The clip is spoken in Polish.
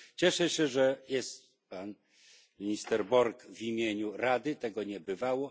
Cieszę się, że jest pan minister Borg w imieniu Rady tego nie bywało.